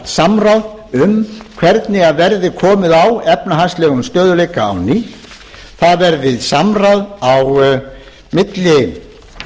samráð um hvernig verði komið á efnahagslegum stöðugleika á ný það verði samráð á milli